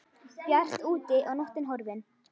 Bjart úti og nóttin horfin.